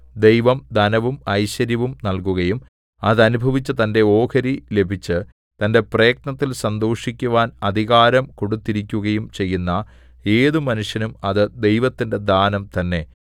ദൈവം ധനവും ഐശ്വര്യവും നല്കുകയും അതനുഭവിച്ച് തന്റെ ഓഹരി ലഭിച്ച് തന്റെ പ്രയത്നത്തിൽ സന്തോഷിക്കുവാൻ അധികാരം കൊടുത്തിരിക്കുകയും ചെയ്യുന്ന ഏതു മനുഷ്യനും അത് ദൈവത്തിന്റെ ദാനം തന്നെ